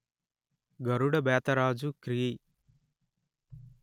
గరుడ బేతరాజు క్రీ